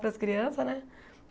para as crianças, né?